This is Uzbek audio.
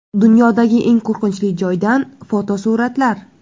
Dunyodagi eng qo‘rqinchli joydan fotosuratlar.